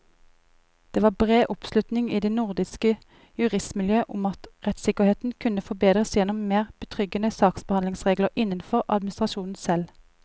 Det var bred oppslutning i det nordiske juristmiljøet om at rettssikkerheten kunne forbedres gjennom mer betryggende saksbehandlingsregler innenfor administrasjonen selv.